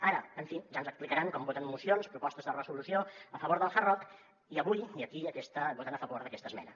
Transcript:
ara en fi ja ens explicaran com voten mocions propostes de resolució a favor del hard rock i avui aquí voten a favor d’aquesta esmena